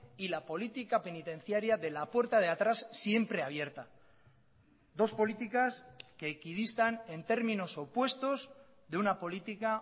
y la política penitenciaria de la puerta de atrás siempre abierta dos políticas que equidistan en términos opuestos de una política